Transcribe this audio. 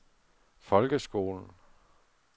folkeskolen